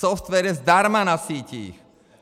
Software je zdarma na sítích!